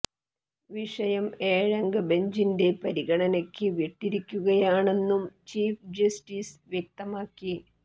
വിഷയം ഏഴംഗ ബെഞ്ചിന്റെ പരിഗണനയ്ക്ക് വിട്ടിരിക്കുകയാണെന്നും ചീഫ് ജസ്റ്റിസ് വ്യക്തമാക്കി